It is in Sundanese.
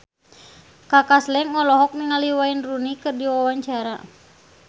Kaka Slank olohok ningali Wayne Rooney keur diwawancara